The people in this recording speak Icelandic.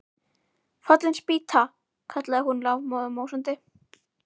Fallin spýta! kallaði hún lafmóð og másandi.